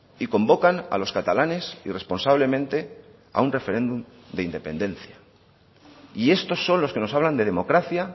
y convocan a los catalanes irresponsablemente a un referéndum de independencia y estos son los que nos hablan de democracia